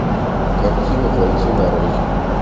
картина бойцы нарой